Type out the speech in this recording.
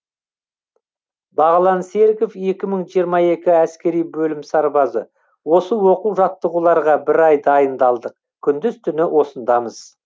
бағлан серіков екі мың жиырма екі әскери бөлім сарбазы осы оқу жаттығуларға бір ай дайындалдық күндіз түні осындамыз